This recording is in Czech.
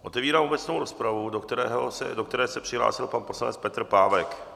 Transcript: Otevírám obecnou rozpravu, do které se přihlásil pan poslanec Petr Pávek.